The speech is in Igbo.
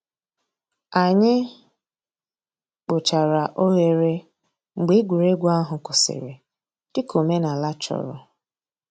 Ànyị̀ kpochàrā òghèrè mgbè ègwè́régwụ̀ àhụ̀ kwụsìrì, dị̀ka òmènàlà chọ̀rọ̀.